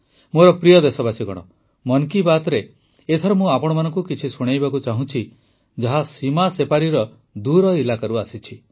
ମୋର ପ୍ରିୟ ଦେଶବାସୀଗଣ ମନ୍ କି ବାତ୍ରେ ଏଥର ମୁଁ ଆପଣମାନଙ୍କୁ କିଛି ଶୁଣାଇବାକୁ ଚାହୁଁଛି ଯାହା ସୀମା ସେପାରିର ଦୂର ଇଲାକାରୁ ଆସିଛି